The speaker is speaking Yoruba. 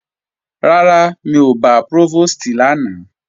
Rárá, mi ò bá Prófòstì lánàá